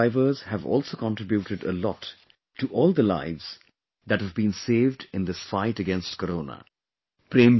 Ambulance Drivers have also contributed a lot to all the lives that have been saved in this fight against Corona